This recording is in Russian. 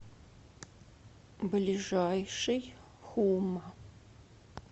ближайший хума